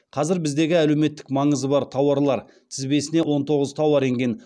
қазір біздегі әлеуметтік маңызы бар тауарлар тізбесіне он тоғыз тауар енген